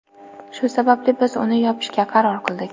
Shu sababli biz uni yopishga qaror qildik.